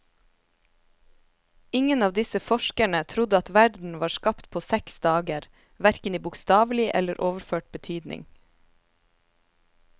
Ingen av disse forskerne trodde at verden var skapt på seks dager, hverken i bokstavelig eller overført betydning.